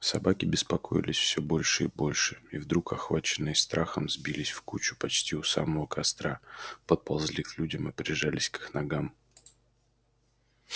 собаки беспокоились все больше и больше и вдруг охваченные страхом сбились в кучу почти у самого костра подползли к людям и прижались к их ногам